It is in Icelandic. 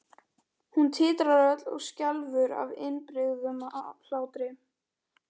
Hún titrar öll og skelfur af innibyrgðum hlátri.